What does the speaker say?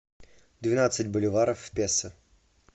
двенадцать боливаров в песо